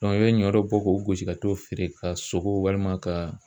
i bɛ ɲɔ bɔ k'o gosi ka t'o feere ka sogo walima ka